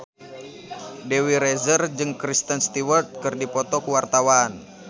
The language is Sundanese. Dewi Rezer jeung Kristen Stewart keur dipoto ku wartawan